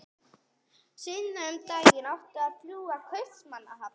Seinna um daginn átti að fljúga til Kaupmannahafnar.